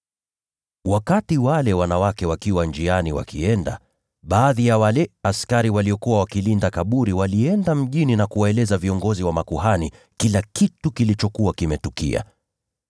Wakati wale wanawake walikuwa njiani wakienda, baadhi ya wale askari waliokuwa wakilinda kaburi walienda mjini na kuwaeleza viongozi wa makuhani kila kitu kilichokuwa kimetukia.